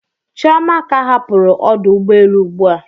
Chioma ka hapụrụ ọdụ ụgbọ elu ụgbụa.